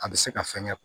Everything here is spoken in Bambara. A bɛ se ka fɛnkɛ